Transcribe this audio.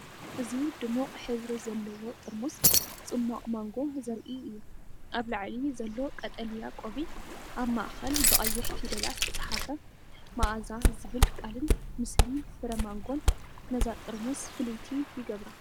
እዚ ድሙቕ ሕብሪ ዘለዎ ጥርሙዝ ጽማቝ ማንጎ ዘርኢ እዩ። ኣብ ላዕሊ ዘሎ ቀጠልያ ቆቢዕ፡ ኣብ ማእከል ብቀይሕ ፊደላት ዝተጻሕፈ 'ማኣዛ' ዝብል ቃልን ምስሊ ፍረ ማንጎን ነዛ ጥርሙዝ ፍልይቲ ይገብራ።